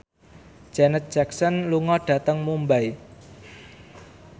Janet Jackson lunga dhateng Mumbai